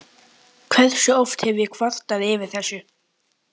Hversu oft hef ég kvartað yfir þessu?